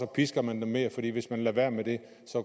pisker man dem mere for hvis man lader være med det